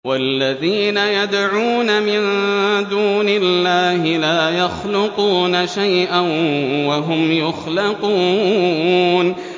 وَالَّذِينَ يَدْعُونَ مِن دُونِ اللَّهِ لَا يَخْلُقُونَ شَيْئًا وَهُمْ يُخْلَقُونَ